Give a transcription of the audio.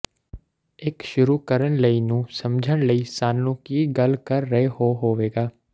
ਇੱਕ ਸ਼ੁਰੂ ਕਰਨ ਲਈ ਨੂੰ ਸਮਝਣ ਲਈ ਸਾਨੂੰ ਕੀ ਗੱਲ ਕਰ ਰਹੇ ਹੋ ਹੋਵੇਗਾ